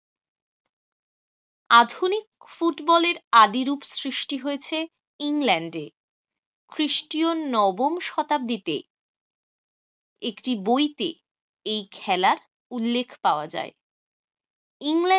আধুনিক ফুটবলের আদিরূপ সৃষ্টি হয়েছে ইংল্যান্ডে খ্রিস্টীয় নবম শতাব্দীতে। একটি বইতে এই খেলার উল্লেখ পাওয়া যায় ইংল্যান্ডে